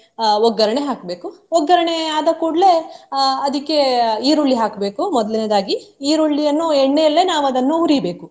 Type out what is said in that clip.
ಅಹ್ ಒಗ್ಗರಣೆ ಹಾಕ್ಬೇಕು. ಒಗ್ಗರಣೆ ಆದ ಕೂಡ್ಲೆ ಅಹ್ ಅದಕ್ಕೆ ಈರುಳ್ಳಿ ಹಾಕ್ಬೇಕು ಮೊದಲನೇಯದಾಗಿ, ಈರುಳ್ಳಿಯನ್ನು ಎಣ್ಣೆಯಲ್ಲೇ ನಾವು ಅದನ್ನು ಹುರಿಬೇಕು.